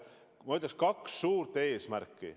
Meil on, ma ütleks, kaks suurt eesmärki.